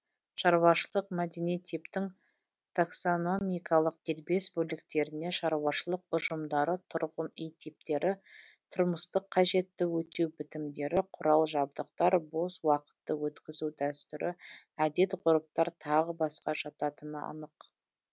шаруашылық мәдени типтің таксономикалық дербес бөліктеріне шаруашылық ұжымдары тұрғын үй типтері тұрмыстық қажетті өтеу бітімдері құрал жабдықтар бос уақытты өткізу дәстүрі әдет ғұрыптар тағы басқа жататыны анық